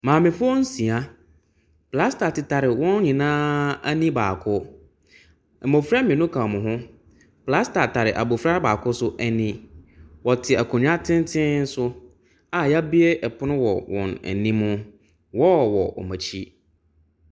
Maamefoɔ nsia, plaster tetare wɔn nyinaa ani baako. Mmɔfra mmienu ka wɔn ho, plaster tare abɔfra baako nso ani. Wɔte akonnwa tenten so a yɛabue ɛpono wɔ wɔn anim. Wall wɔ wɔn akyi.